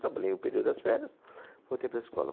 Trabalhei o período das férias, voltei para a escola.